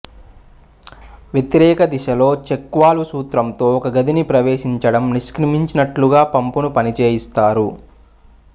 వ్యతిరేక దిశలో check valve సూత్రంతో ఒక గదిని ప్రవేశించడం నిష్క్రమించునట్లుగా పంపును పనిచేయిస్తారు